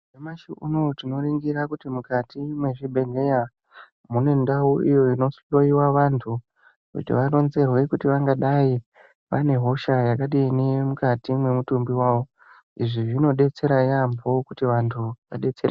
Nyamashi unou tinoringira kuti mukati mwechibhedhleya mune ndau iyo inohloyiwavanthu kuti varonzerwe kuti vangadai vane hosha yakadini mukati mwemitumbi wao izvi zvinodetsera yaambo kuti vanhu vadeysereke.